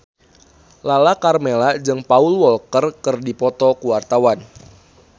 Lala Karmela jeung Paul Walker keur dipoto ku wartawan